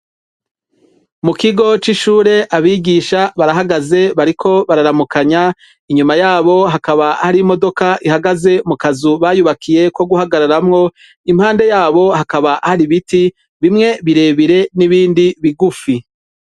Mu kigo c'ishure abigisha barahagaze bariko bararamukanya inyuma yabo hakaba hari imodoka ihagaze mu kazu bayubakiye ko guhagararamwo impande yabo hakaba hari ibiti bimwe birebire n'ibindi bigufi.